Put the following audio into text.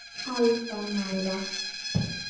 Alfa Malla.